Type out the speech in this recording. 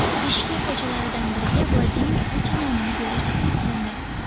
Bishkek ko‘chalaridan biriga Vladimir Putin nomini berish taklif qilindi.